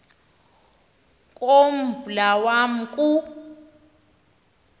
kombla wama ku